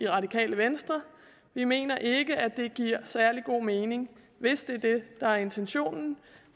radikale venstre vi mener ikke at det giver særlig god mening hvis det er det der er intentionen